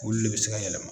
Olu le be se ka yɛlɛma